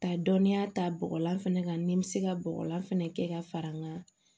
Ka dɔnninya ta bɔgɔlan fɛnɛ kan ni n be se ka bɔgɔlan fɛnɛ kɛ ka fara n ka